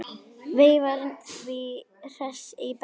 Veifar því hress í bragði.